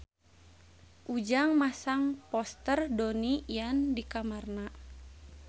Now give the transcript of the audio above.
Ujang masang poster Donnie Yan di kamarna